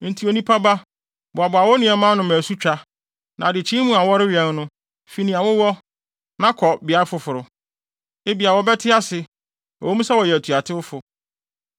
“Enti onipa ba, boaboa wo nneɛma ano ma asutwa, na adekyee mu a wɔrewɛn no, fi nea wowɔ, na kɔ beae foforo. Ebia wɔbɛte ase, ɛwɔ mu sɛ wɔyɛ atuatewfo.